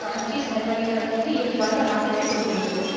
ஆட்சி சர்வாதிகாரத்திற்கு இயல்பான ஆதரவைக் கொடுக்கின்றனர்